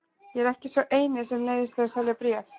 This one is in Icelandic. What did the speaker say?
Ég er ekki sá eini sem neyðist til að selja bréf.